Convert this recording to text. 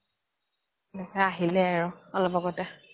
আহিলে আৰু অলপ আগ্তে